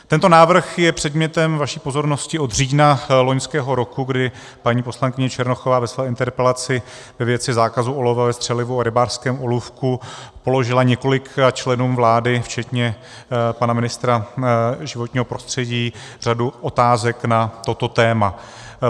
Tento návrh je předmětem vaší pozornost od října loňského roku, kdy paní poslankyně Černochová ve své interpelaci ve věci zákazu olova ve střelivu a rybářském olůvku položila několika členům vlády, včetně pana ministra životního prostředí, řadu otázek na toto téma.